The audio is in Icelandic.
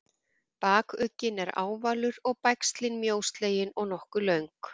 bakugginn er ávalur og bægslin mjóslegin og nokkuð löng